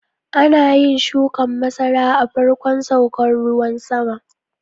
Ana yin shukan masara a farkon saukan ruwan sama.